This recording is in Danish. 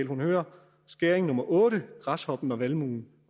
hun hører skæring nummer otte græshoppen og valmuen